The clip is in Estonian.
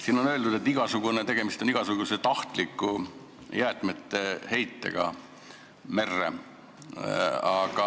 Siin on öeldud, et tegemist on igasuguse tahtliku jäätmete heitega merre.